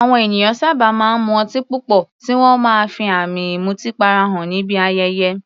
Àwọn ènìyàn sábà máa ń mu ọtí púpọ̀, tí wọ́n máa ń fi àmì ìmutípara hàn níbi ayẹyẹ.